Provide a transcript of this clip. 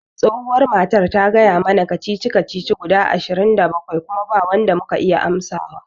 Tsohuwar matar ta gaya mana kacici kacici guda ishirin da bakwai kuma ba wanda muka iya amsawa